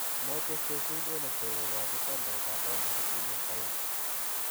Moche Sheffield Wednesday kogochi tendait ab paundisiek milion aeeng'.